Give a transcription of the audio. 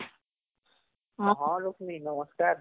ହଁ ଲକ୍ଷ୍ମୀ ନମସ୍କାର